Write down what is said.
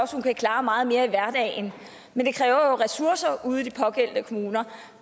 hun kan klare meget mere i hverdagen men det kræver jo ressourcer ude i de pågældende kommuner